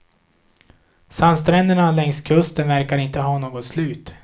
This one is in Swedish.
Sandstränderna längs kusten verkar inte ha något slut.